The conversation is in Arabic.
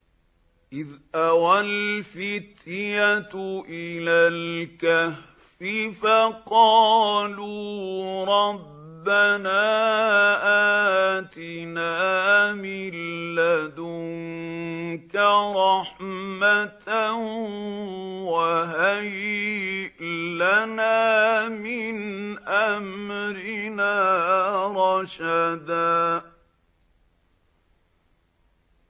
إِذْ أَوَى الْفِتْيَةُ إِلَى الْكَهْفِ فَقَالُوا رَبَّنَا آتِنَا مِن لَّدُنكَ رَحْمَةً وَهَيِّئْ لَنَا مِنْ أَمْرِنَا رَشَدًا